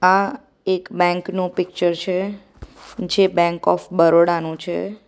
આ એક બેંક નું પિક્ચર છે જે બેંક ઓફ બરોડા નું છે.